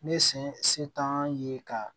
Ne sen se t'an ye ka